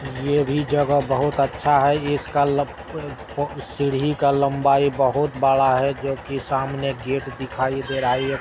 ये भी जगह बहुत अच्छा है। इसका लक क् अ सीढ़ी का लम्बाई बहुत बड़ा है जोकि सामने गेट दिखाई दे रहा है।